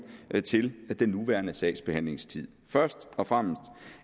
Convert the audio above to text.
til den nuværende sagsbehandlingstid først og fremmest